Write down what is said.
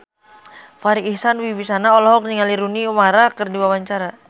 Farri Icksan Wibisana olohok ningali Rooney Mara keur diwawancara